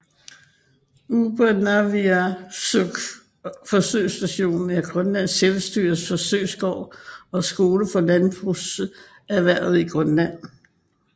Upernaviarsuk forsøgsstation er Grønlands Selvstyres forsøgsgård og skole for landbrugserhvervet i Grønland